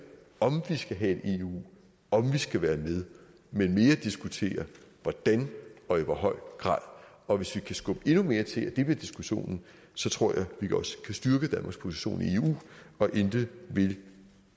om vi skal have et eu om vi skal være med men mere diskuterer hvordan og i hvor høj grad og hvis vi kan skubbe endnu mere til at det vil være diskussionen så tror jeg vi også kan styrke danmarks position i eu og intet vil